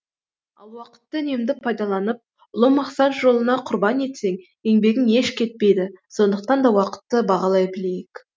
ал уақытты үнемді пайдаланып ұлы мақсат жолына құрбан етсең еңбегің еш кетпейді сондықтан да уақытты бағалай білейік